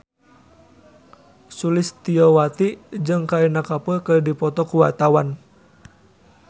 Sulistyowati jeung Kareena Kapoor keur dipoto ku wartawan